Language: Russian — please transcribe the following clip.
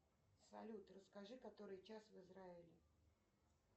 салют расскажи который час в израиле